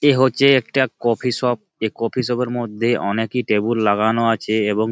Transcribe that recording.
এ হচ্ছে একটা coffee shop. এ কফি শপ -এর মধ্যে অনেকেই টেবুল লাগানো আছে। এবং--